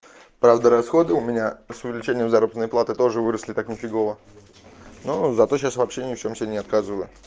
правда расходы у меня с увеличением заработной платы тоже выросли так нифигово ну зато сейчас вообще ни в чем себе не отказываю